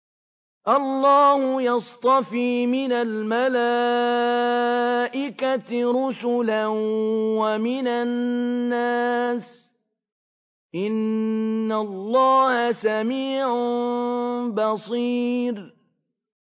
اللَّهُ يَصْطَفِي مِنَ الْمَلَائِكَةِ رُسُلًا وَمِنَ النَّاسِ ۚ إِنَّ اللَّهَ سَمِيعٌ بَصِيرٌ